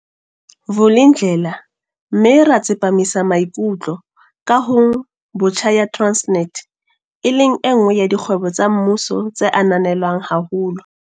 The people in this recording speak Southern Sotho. Vulindlela mme ra tsepa misamaikutlo kahong botjha ya Transnet, e leng enngwe ya dikgwebo tsa mmuso tse ananelwang haholo.